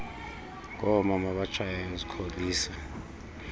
ngoomama abatshayayo zikholisa